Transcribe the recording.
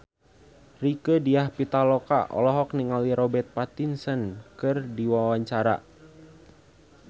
Rieke Diah Pitaloka olohok ningali Robert Pattinson keur diwawancara